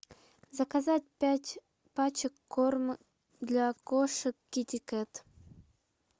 заказать пять пачек корм для кошек китикет